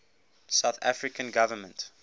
south african government